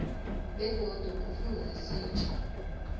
begodu kufuze sitjho